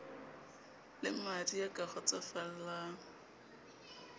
le madi ya ka kgotsofallang